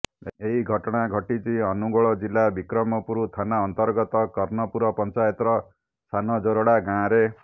ଏହି ଘଟଣା ଘଟିଛି ଅନୁଗୋଳ ଜିଲ୍ଲା ବିକ୍ରମପୁର ଥାନା ଅନ୍ତର୍ଗତ କର୍ଣ୍ଣପୁର ପଞ୍ଚାୟତର ସାନଜୋରଡ଼ା ଗାଁରେ